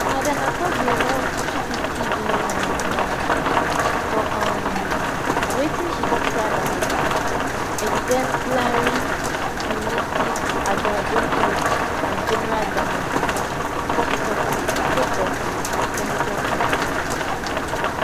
madam akpabio want n250 billion in damages for um wetin she describe as exemplary punitive aggravated and general damages she suffer sake of di senator statement